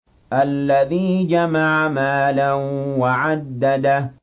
الَّذِي جَمَعَ مَالًا وَعَدَّدَهُ